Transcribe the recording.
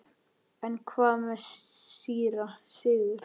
En hvað með síra Sigurð?